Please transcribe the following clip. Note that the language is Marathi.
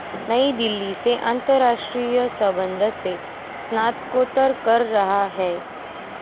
नई दिल्ली से आंतरराष्ट्रीय संबंध से स्नातकोत्तर कर रहा है.